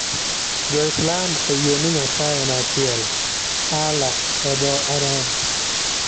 Jo-Islam oyie ni Nyasaye en achiel. Allah e dho-Arabu.